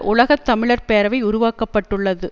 உலக தமிழர் பேரவை உருவாக்க பட்டுள்ளது